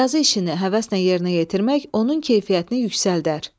Yazı işini həvəslə yerinə yetirmək onun keyfiyyətini yüksəldər.